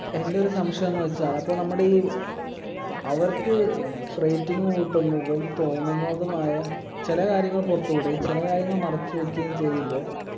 എൻ്റെ ഒരു സംശയംന്ന് വച്ചാ അപ്പൊ നമ്മുടെ ഈ അവർക്ക് rating കൂട്ടുന്നതും തോന്നുന്നതുമായ ചില കാര്യങ്ങൾ പുറത്തുവിടും ചില കാര്യങ്ങൾ മറച്ചു വെക്കുകയും ചെയ്യുമ്പോ